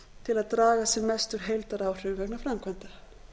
til að draga sem mest úr heildaráhrifum vegna framkvæmda